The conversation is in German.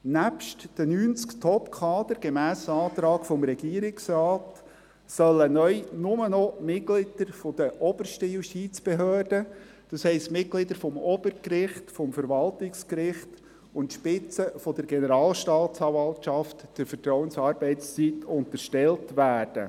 Nebst den 90 Top-Kadern, gemäss Antrag des Regierungsrates, sollen neu nur noch Mitglieder der obersten Justizbehörden, das heisst, Mitglieder des Obergerichts, des Verwaltungsgerichts sowie die Spitzen der Generalstaatsanwaltschaft der Vertrauensarbeitszeit unterstellt werden.